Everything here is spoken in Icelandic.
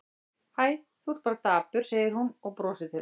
Hæ, þú ert bara dapur, segir hún og brosir til hans.